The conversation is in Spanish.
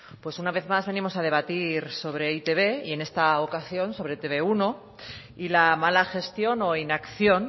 pues una vez más venimos a debatir sobre e i te be y en esta ocasión sobre etb uno y la mala gestión o inacción